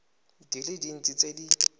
di le dintsi tse di